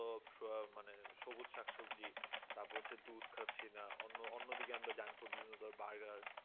মানে সবুজ শাকসবজি তারপর হচ্ছে দুধ খাচ্ছি না অন্য অন্য দিকে আমরা junk food বিভিন্ন ধরণের burger